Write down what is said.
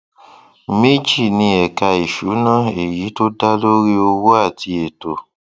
méjì ni ẹka ìṣúná èyí tó dá lórí owó àti ètò